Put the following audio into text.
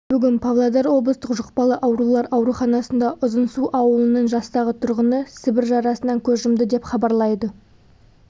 бүгін павлодар облыстық жұқпалы аурулар ауруханасында ұзынсу ауылының жастағы тұрғыны сібір жарасынан көз жұмды деп хабарлайды